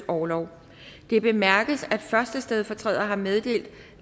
orlov det bemærkes at første stedfortræder har meddelt